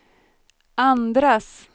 andras